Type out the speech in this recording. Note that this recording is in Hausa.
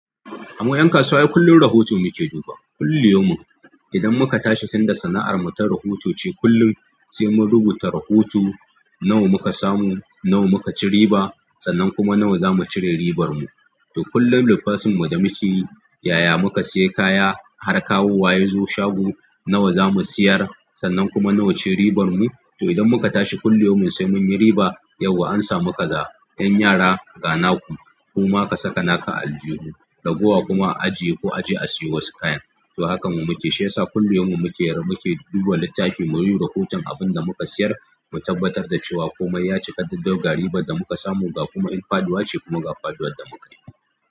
Mu 'yan kasuwa kullum rahoto muke duba, kullu yau min. Idan muka tashi sanda sana'ar mu ta rahoto ce kullum, sai mu rubuta rahoto nawa muka samu, nawa muka ci riba, sannan kuma nawa za mu cire ribar mu. To kullum lissafin mu da muke yi, yaya muka sayi kaya har kawu waye ya zo shago, nawa za mu siyar, sannan kuma nawa ce ribar mu. To idan muka tashi kullum sai mun yi riba, yau an sa mu kaga 'yan yara ga naku, ku ma ka saka naka a aljihu, ragowa kuma a ajiye ko a je a siyo wasu kayan. To harkan mu muke shiya sa kullum muke duba littafi mu yi rahoton abin da muka sayar, mu tabbatar da cewa komai ya cika dabdab ga ribar da muka samu ga kuma in faɗuwa ce kuma ga faɗuwar da muka yi.